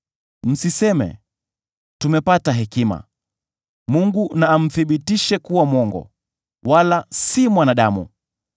Msiseme, ‘Tumepata hekima; Mungu na amthibitishe kuwa mwongo, wala si mwanadamu.’